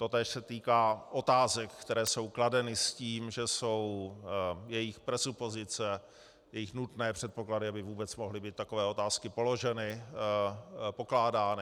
Totéž se týká otázek, které jsou kladeny s tím, že jsou jejich presupozice, jejich nutné předpoklady, aby vůbec mohly být takové otázky položeny, pokládány.